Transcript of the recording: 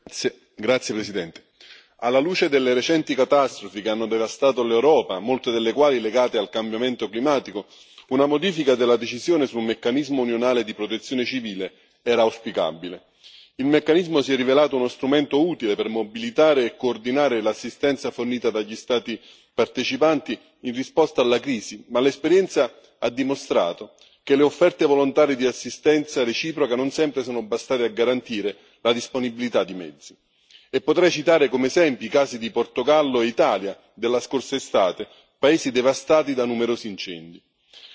Signor Presidente, onorevoli colleghi, alla luce delle recenti catastrofi che hanno devastato l'Europa, molte delle quali legate al cambiamento climatico, una modifica della decisione su un meccanismo unionale di Protezione civile era auspicabile. Il meccanismo si è rivelato uno strumento utile per mobilitare e coordinare l'assistenza fornita dagli Stati partecipanti, in risposta alla crisi, ma l'esperienza ha dimostrato che le offerte volontarie di assistenza reciproca non sempre sono bastate a garantire la disponibilità di mezzi, e potrei citare come esempi i casi di Portogallo e Italia della scorsa estate, paesi devastati da numerosi incendi.